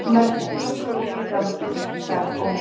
Hann verður frískur úti í Danmörku, sagði Ólafur.